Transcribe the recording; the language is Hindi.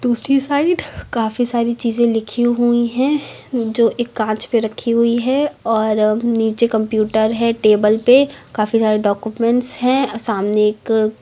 दूसरी साइड काफी सारी चीजें लिखी हुई है जो एक कांच पे रखी हुई है और नीचे कंप्यूटर है टेबल पे काफी सारे डाक्यूमेंट्स है सामने एक--